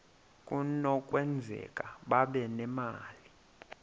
kunokwenzeka babe nemali